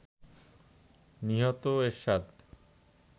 নিহত এরশাদ